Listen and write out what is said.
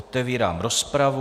Otevírám rozpravu.